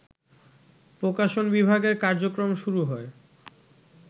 প্রকাশন বিভাগের কার্যক্রম শুরু হয়